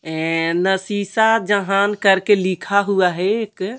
अ नसीसा जहान करके लिखा हुआ है एक--